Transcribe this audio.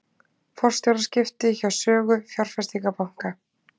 Forstjóraskipti hjá Sögu fjárfestingarbanka